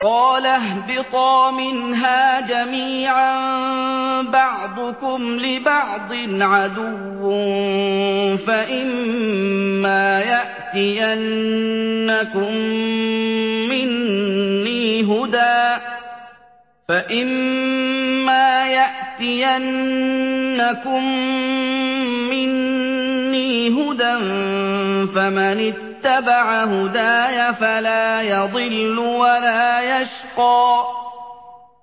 قَالَ اهْبِطَا مِنْهَا جَمِيعًا ۖ بَعْضُكُمْ لِبَعْضٍ عَدُوٌّ ۖ فَإِمَّا يَأْتِيَنَّكُم مِّنِّي هُدًى فَمَنِ اتَّبَعَ هُدَايَ فَلَا يَضِلُّ وَلَا يَشْقَىٰ